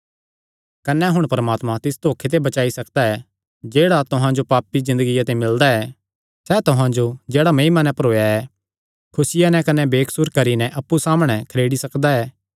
कने हुण परमात्मा तिस धोखे ते बचाई सकदा ऐ जेह्ड़ा तुहां जो पापी ज़िन्दगिया ते मिलदा ऐ सैह़ तुहां जो जेह्ड़ा महिमा नैं भरोया ऐ खुसिया नैं कने बेकसूर करी नैं अप्पु सामणै खरेड़ी सकदा ऐ